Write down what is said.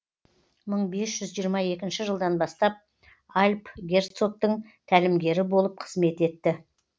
мың бес жүз жиырма екінші жылдан бастап альб герцоктің тәлімгері болып кызмет етті